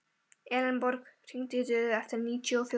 Elenborg, hringdu í Döðu eftir níutíu og fjórar mínútur.